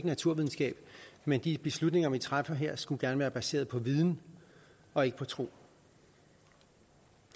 naturvidenskab men de beslutninger vi træffer her skulle gerne være baseret på viden og ikke på tro